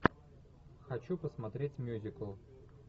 хочу посмотреть мюзикл